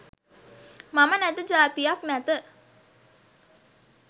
මම නැත ජාතියක් නැත